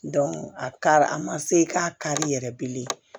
a kari a ma se k'a kari yɛrɛ bilen